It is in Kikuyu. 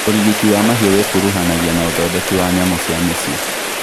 Ũrigiti wa mahiũ wĩkuruhanagia na ũthondeki wa nyamũ cia mĩciĩ